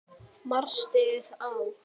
Mastrið á